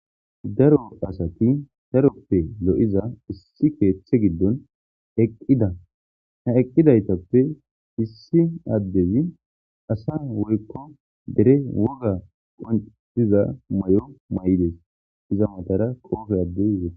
daro asati daroppe lo7iza issi keeththe giddon eqqida ha eqqidaytappe issi addezi asa woykko dere woga qontiza may7o may7ides iza matara qoofe addey yet